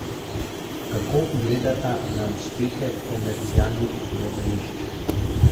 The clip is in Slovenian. Kako gledata na uspehe komercialnih gledališč?